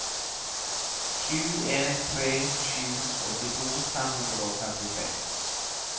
sju en tre sju åttito fem hundre og femtitre